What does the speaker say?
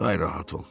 Daha rahat ol.